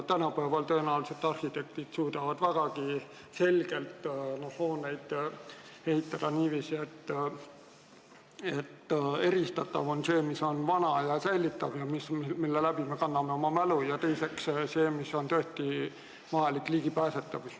Tänapäeval suudavad arhitektid tõenäoliselt vägagi selgelt ehitada niiviisi, et eristatav on see, mis on vana ja säilitatav, mille kaudu me hoiame oma mälu, ja see, kus on tõesti vaja ligipääsetavust.